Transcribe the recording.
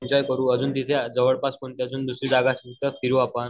विचार करू अजून तिथे जवळपास दुसरी जागा असेल तर फिरू आपण